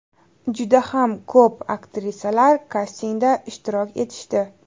Juda ham ko‘p aktrisalar kastingda ishtirok etishdi.